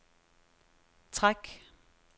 træk